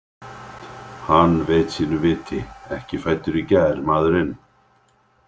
Hann veit sínu viti, ekki fæddur í gær maðurinn.